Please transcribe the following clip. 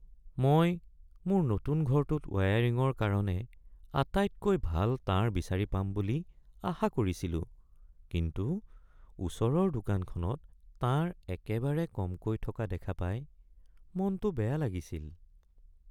মই মোৰ নতুন ঘৰটোত ৱায়াৰিঙৰ কাৰণে আটাইতকৈ ভাল তাঁৰ বিচাৰি পাম বুলি আশা কৰিছিলোঁ কিন্তু ওচৰৰ দোকানখনত তাঁৰ একেবাৰে কমকৈ থকা দেখা পাই মনটো বেয়া লাগিছিল।